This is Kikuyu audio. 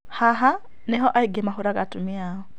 Haha niho aingĩ mahũraga atumia ao